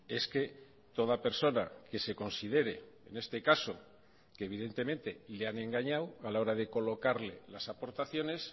es que toda persona que se considere en este caso que evidentemente le han engañado a la hora de colocarle las aportaciones